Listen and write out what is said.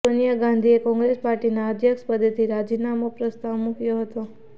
સોનિયા ગાંધીએ કોંગ્રેસ પાર્ટીના અધ્યક્ષ પદેથી રાજીનામાનો પ્રસ્તાવ મૂક્યો હતો